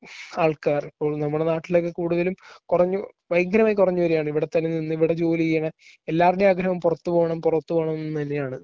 ആൾക്കാർ. അപ്പോ നമ്മുടെ നാട്ടിലൊക്കെ കൂടുതലും കുറഞ്ഞ ഭയങ്കരമായി കുറഞ്ഞുവരികയാണ് ഇവിടെ തന്നെ നിന്ന് ഇവിടെ ജോലി ചെയ്യുക. എല്ലാവരുടെയും ആഗ്രഹം പുറത്തു പോകണം പുറത്തു പോകണംന്ന് തന്നെയാണ്.